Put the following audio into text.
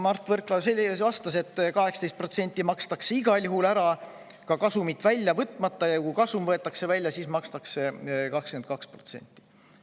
Mart Võrklaev vastas, et 18% makstakse igal juhul ära, ka kasumit välja võtmata, ja kui kasum võetakse välja, siis makstakse 22%.